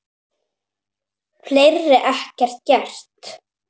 Fleiri ekki gert.